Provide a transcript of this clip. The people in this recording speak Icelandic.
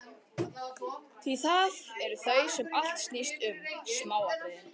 Því það eru þau sem allt snýst um: smáatriðin.